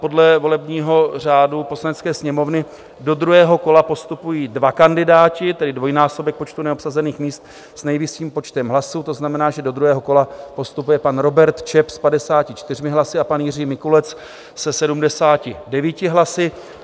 Podle volebního řádu Poslanecké sněmovny do druhého kola postupují dva kandidáti, tedy dvojnásobek počtu neobsazených míst s nejvyšším počtem hlasů, to znamená, že do druhého kola postupuje pan Robert Čep s 54 hlasy a pan Jiří Mikulec se 79 hlasy.